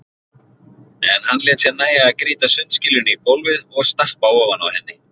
En hann lét sér nægja að grýta sundskýlunni í gólfið og stappa ofan á henni.